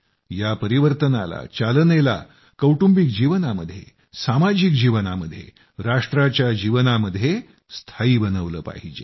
या परिवर्तनाला चालनेला कौटुंबिक जीवनामध्ये सामाजिक जीवनामध्ये राष्ट्राच्या जीवनामध्ये स्थायी बनवलं पाहिजे